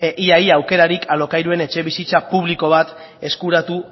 ia ia aukerarik alokairuan etxebizitza publiko bat eskuratu